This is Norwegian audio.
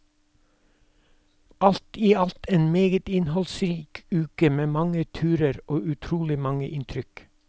Alt i alt en meget innholdsrik uke, med mange turer og utrolig mange inntrykk.